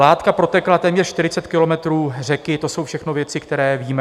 Látka protekla téměř 40 kilometrů řeky, to jsou všechno věci, které víme.